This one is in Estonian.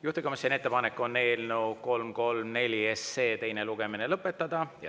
Juhtivkomisjoni ettepanek on eelnõu 334 teine lugemine lõpetada.